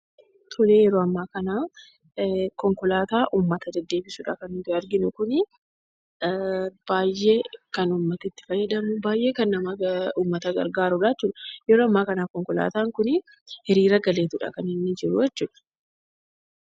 Tole yeroo ammaa kana konkolaataa ummata deddeebisuudha kan nuti arginu kunii. Baay'ee kan ummati itti fayyadamu; baay'ee kan ummata gargaaruu dha jechuu dha. Yeroo ammaa kana konkolaataan kun hiriira galeeti dha kan inni jiru jechuudha.